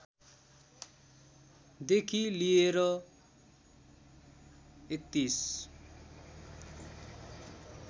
देखि लिएर ३१